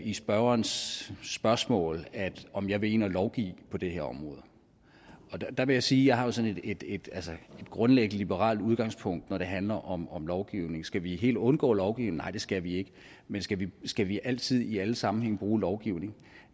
i spørgerens spørgsmål om jeg vil ind og lovgive på det her område der vil jeg sige at jeg har sådan et grundlæggende liberalt udgangspunkt når det handler om om lovgivning skal vi helt undgå lovgivning nej det skal vi ikke men skal vi skal vi altid i alle sammenhænge bruge lovgivning